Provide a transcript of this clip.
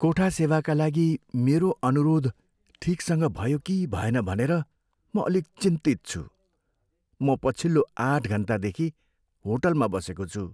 कोठा सेवाका लागि मेरो अनुरोध ठिकसँग भयो कि भएन भनेर म अलिक चिन्तित छु। म पछिल्लो आठ घन्टादेखि होटलमा बसेको छु।